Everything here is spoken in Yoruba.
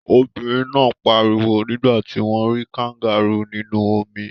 Obìnrin náà pariwo nígbà tí wọ́n rí kangárù nínú omi.